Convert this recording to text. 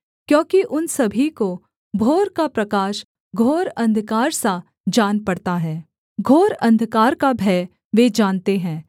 क्योंकि उन सभी को भोर का प्रकाश घोर अंधकार सा जान पड़ता है घोर अंधकार का भय वे जानते हैं